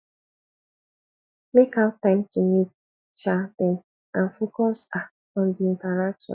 make out time to meet um them and focus um on di interaction